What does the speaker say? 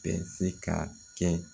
Bɛ se ka kɛ